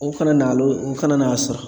O kana nalo o kana n'a sɔrɔ.